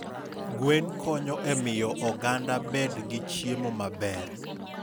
Gwen konyo e miyo oganda obed gi chiemo maber.